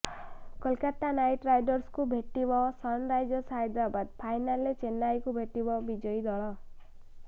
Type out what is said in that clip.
Kolkata Knight ରାଇଡର୍ସଙ୍କୁ ଭେଟିବ Sunrisers Hyderabad ଫାଇନାଲରେ ଚେନ୍ନାଇକୁ ଭେଟିବ ବିଜୟୀ ଦଳ